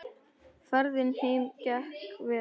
Ferðin heim gekk vel.